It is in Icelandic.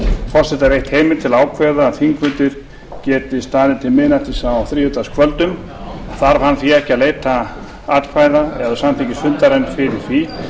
forseta veitt heimild til að ákveða að þingfundir geti staðið til miðnættis á þriðjudagskvöldum þarf hann því ekki að leita atkvæða eða samþykkis fundarins fyrir því